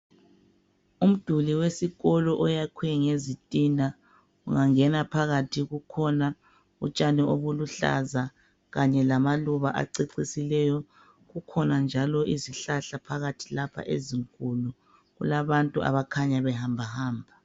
Umduli wesikolo oyakhwe ngezitina ungangena phakathi kukhona utshani obuluhlaza kanye lamaluba acecisileyo kukhona njalo izihlahla phakathi lapha ezinkulu kulabantu abakhanya behambahamba.